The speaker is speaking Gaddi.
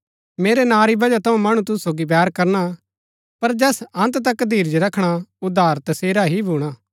मेरै नां री बजह थऊँ मणु तुसु सोगी बैर करणा पर जैस अन्त तक धीरज रखणा उद्धार तसेरा ही भूणा